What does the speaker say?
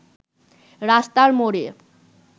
রাস্তার মোড়ে